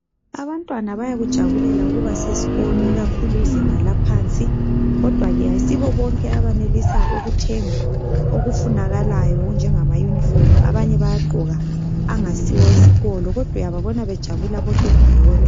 Abantwana bayakujabulela ukuba seskolo ikakhulu izinga laphansi kodwa ke ayisibo bonke abenelisa ukuthenga okufunakalayo okunjengama yunifomu abanye bayagqoka angasiwo wesikolo kodwa uyababona bejabula bonke ndawonye.